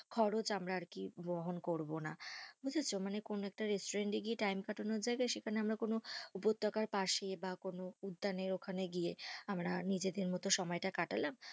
খরচ আমরা আর কি বহন করবো না, বুঝেছো কোনো একটা restaurant এ গিয়ে time কাটানোর জায়গায়, সেখানে আমার কোনো উপত্যকার পাশে, বা কোনো উদ্যানের ওখানে গিয়ে আমরা নিজেদের মতো সময় কাটালাম।